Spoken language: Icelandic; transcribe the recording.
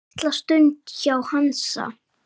Litla stund hjá Hansa